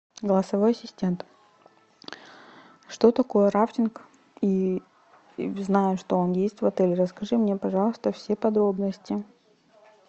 голосовой ассистент что такое рафтинг и знаю что он есть в отеле расскажи мне пожалуйста все подробности